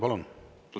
Palun!